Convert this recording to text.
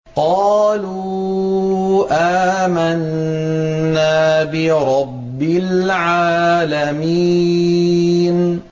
قَالُوا آمَنَّا بِرَبِّ الْعَالَمِينَ